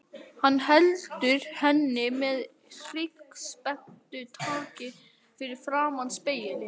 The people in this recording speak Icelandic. Hann heldur henni með hryggspennutaki fyrir framan spegilinn.